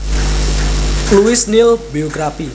Louis Néel Biography